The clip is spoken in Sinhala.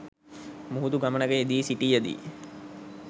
මුහුදු ගමනක යෙදී සිටියදී